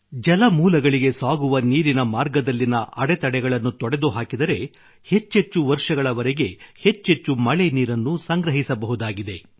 ಜಲಮೂಲಗಳಿಗೆ ಸಾಗುವ ನೀರಿನ ಮಾರ್ಗದಲ್ಲಿನ ಅಡೆತಡೆಗಳನ್ನು ತೊಡೆದುಹಾಕಿದರೆ ಹೆಚ್ಚೆಚ್ಚು ವರ್ಷಗಳವರೆಗೆ ಹೆಚ್ಚೆಚ್ಚು ಮಳೆ ನೀರನ್ನು ಸಂಗ್ರಹಿಸಬಹುದಾಗಿದೆ